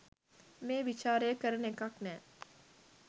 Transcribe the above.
මේ විචාරය කරන එකක් නෑ